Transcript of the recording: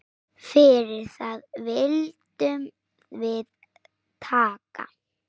Fyrir það viljum við þakka.